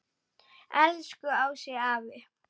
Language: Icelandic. Elsku Ási afi.